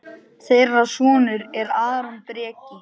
Þeirra sonur er Aron Breki.